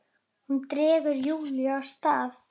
Hún dregur Júlíu af stað.